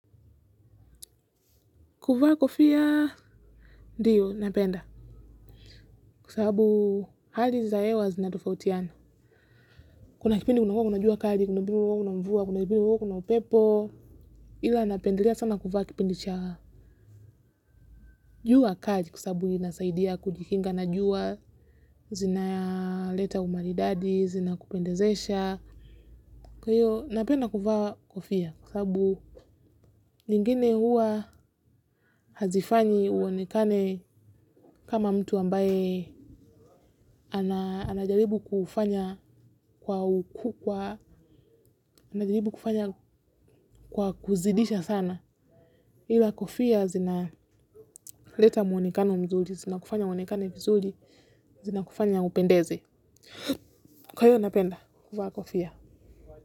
Kuvaa kofia ndiyo napenda. Kwa sababu hali za hewa zinatofautiana. Kuna kipindi kuna kwa kunajua kaji, kuna bimu kwa kunamvua, kuna kipindi kwa kunampepo. Ila napendelea sana kuvaa kipindi cha jua kali kwa sababu inasaidia kujikinga na jua zina leta umaridadi, zina kupendezesha. Kwa hiyo, napenda kuvaa kofia, kwa sababu lingine huwa hazifanyi uonekane kama mtu ambaye anajaribu kufanya kwa kuzidisha sana. Ila kofia zina leta muonekano mzuri, zina kufanya uonekane vizuri zina kufanya upendeze. Kwa hiyo, napenda kuvaa kofia.